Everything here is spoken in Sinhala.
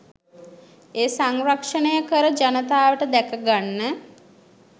එය සංරක්ෂණය කර ජනතාවට දැකගන්න